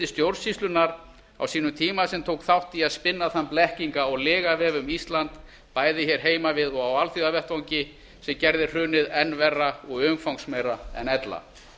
stjórnsýslunnar á sínum tíma sem tók þátt í að spinna ein blekkinga og lygavef um ísland bæði hér heima við og á alþjóðavettvangi sem gerði hrunið enn verra og umfangsmeira en ella